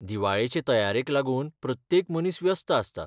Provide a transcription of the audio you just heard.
दिवाळेचे तयारेक लागून प्रत्येक मनीस व्यस्त आसता.